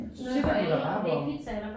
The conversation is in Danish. Så sætter du dig bare hvor